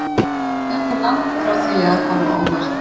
Þetta er langt frá því að koma á óvart.